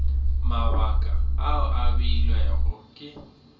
mabaka ao a beilwego ke